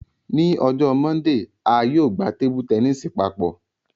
Ni ọjọ Mọndee, a yóò gba tẹnisi papọ